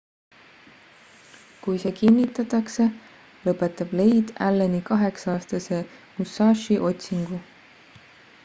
kui see kinnitatakse lõpetab leid alleni kaheksa-aastase musashi otsingu